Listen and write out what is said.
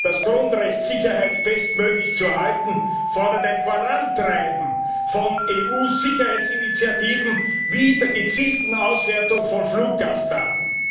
Das Grundrecht, Sicherheit bestmöglich zu erhalten, fordert ein Vorantreiben von EU Sicherheitsinitiativen wie der gezielten Auswertung von Fluggastdaten.